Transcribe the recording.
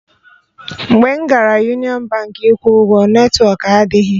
Mgbe m gara Union Baankị ịkwụ ụgwọ, netwọk adịghị